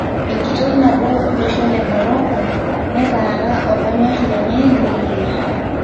Enkitok nabo olosho le Morocco'neetara olonyorr lenye neyier'